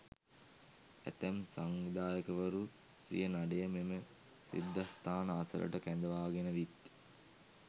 ඇතැම් සංවිධායකවරු සිය නඩය මෙම සිද්ධස්ථාන අසලට කැඳවාගෙන විත්